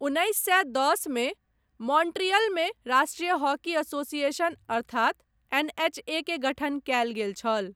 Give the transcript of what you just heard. उन्नैस सए दश मे मॉन्ट्रियलमे राष्ट्रीय हॉकी एसोसिएशन अर्थात एनएचए के गठन कयल गेल छल।